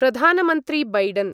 प्रधानमन्त्री बैडन्